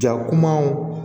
Ja kumaw